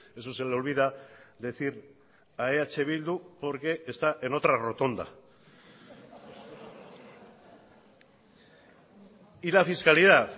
eso se le olvida decir a eh bildu porque está en otra rotonda y la fiscalidad